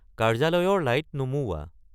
কাৰ্য্যালয়ৰ লাইট নুমুওৱা